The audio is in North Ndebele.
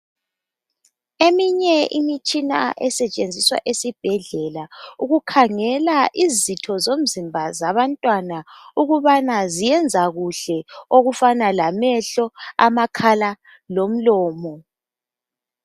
Eminye imitshina esetshenziswa esibhedlela ukukhangela izitho zomzimba zabantwana ukubana ziyenza kuhle okufana lamehlo, amakhala, lomlomo.